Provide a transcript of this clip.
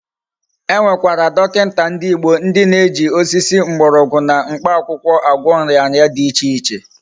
E Nwekwara dokinta ndi Igbo ndi na eji osisi, mgborogwu na mkpa akwukwo agwo nria nria di iche iche